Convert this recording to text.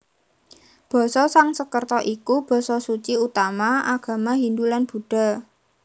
Basa Sangsekerta iku basa suci utama agama Hindu lan Buddha